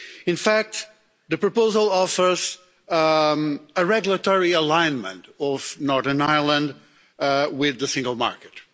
In fact, the proposal offers regulatory alignment of Northern Ireland with the single market.